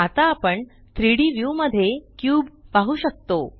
आता आपण 3Dव्यू मध्ये क्यूब पाहु शकतो